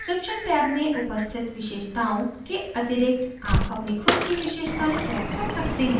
description tab में उपस्थित विशेषताओं के अतिरिक्त आप अपनी खुद की विशेषतायें set कर सकते हैं